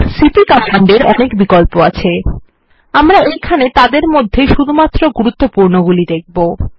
CP command এর অনেক বিকল্প আছে আমরা এইখানে তাদের মধ্যে শুধুমাত্র গুরুত্বপূর্ণ গুলি দেখব